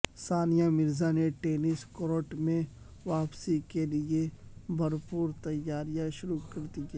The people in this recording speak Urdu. ثانیہ مرزا نے ٹینس کورٹ میں واپسی کیلئے بھرپور تیاریاں شروع کر دیں